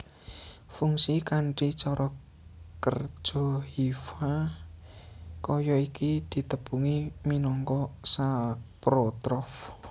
Fungi kanthi cara kerja hifa kaya iki ditepungi minangka saprotrof